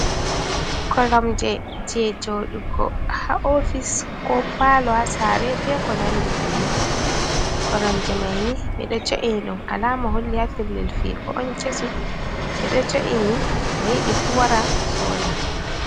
Koromje, je joɗugo ha ofis, ko Palo, ha sare, be ko nandi bannin, koromje maini ɓido jo’ini ɗum alama holli ha pellel figo on kesum, ɓeɗo jo’ini mo yidi fu wara soda.